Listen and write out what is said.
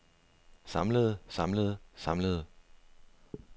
samlede samlede samlede